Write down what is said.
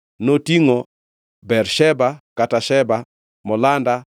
Notingʼo: Bersheba (kata Sheba), Molada,